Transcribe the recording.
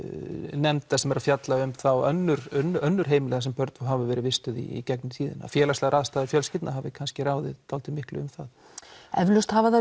nefnda sem eru að fjalla um þá önnur önnur heimili þar sem börn hafa verið vistuð í gegnum tíðina félagslegar aðstæður fjölskyldna hafi kannski ráðið miklu um það eflaust hafa þær